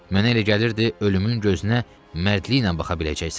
Mənə elə gəlirdi ölümün gözünə mərdliklə baxa biləcəksən.